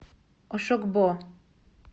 ошогбо